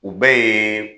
U bɛɛ ye